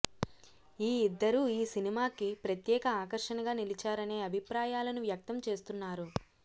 ఈ ఇద్దరూ ఈ సినిమాకి ప్రత్యేక ఆకర్షణగా నిలిచారనే అభిప్రాయాలను వ్యక్తం చేస్తున్నారు